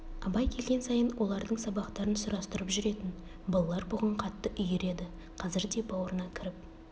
абай келген сайын олардың сабақтарын сұрастырып жүретін балалар бұған қатты үйір еді қазір де баурына кіріп